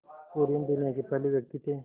कुरियन दुनिया के पहले व्यक्ति थे